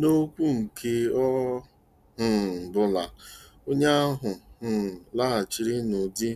N'okwu nke ọ um bụla, onye ahụ um laghachiri n'ụdị